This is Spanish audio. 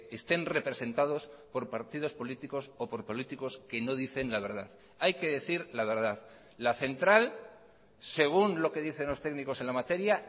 estén representados por partidos políticos o por políticos que no dicen la verdad hay que decir la verdad la central según lo que dicen los técnicos en la materia